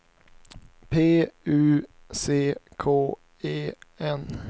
P U C K E N